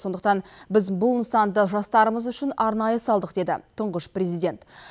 сондықтан біз бұл нысанды жастарымыз үшін арнайы салдық деді тұңғыш президент